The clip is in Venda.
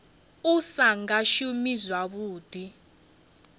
u sa nga shumi zwavhuḓi